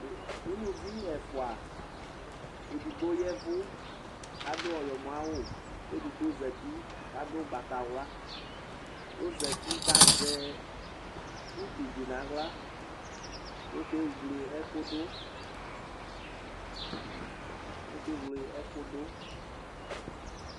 Ʋlʋvi ɛfʋa edigbo ya ɛvʋ adʋ ayɔmɔ awʋ kʋ edigbo ɔzati kʋ adʋ ʋgbatawla kʋ ɔzati kʋ azɛ utudi nʋ aɣla kʋ ɔkewle ɛkʋdu